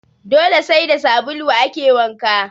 Dole sai da sabulu ake wanka